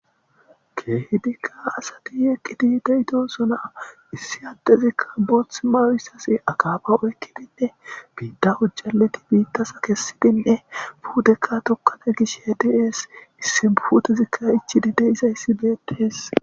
Keehidikka asati yeqqidi deytosona issi addezikka boothth mawyssasi akaaba oykkidinne biidda ujjaleti biittasa kessidinne puudekka tukkane gish hediees issi putezikka ichidi de izayssi beettees.